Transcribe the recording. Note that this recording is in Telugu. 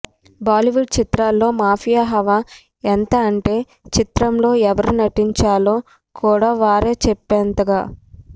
బాలీవుడ్ చిత్రాలలో మాఫియా హవా ఎంత అంటే చిత్రంలో ఎవరు నటించాలో కూడా వారే చెప్పేంతగా